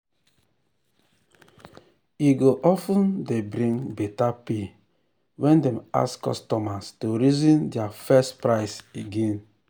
e go of ten dey bring better pay when dem ask customers to reason dia first price again.